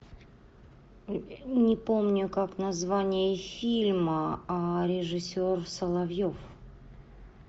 не помню как название фильма а режиссер соловьев